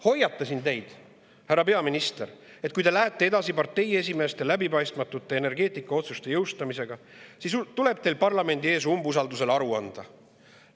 Hoiatasin teid, härra peaminister, et kui te lähete edasi parteiesimeeste läbipaistmatute energeetikaotsuste jõustamisega, siis tuleb teil parlamendi ees umbusaldusel aru anda.